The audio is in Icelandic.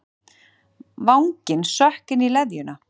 Vanginn sökk inn í leðjuna.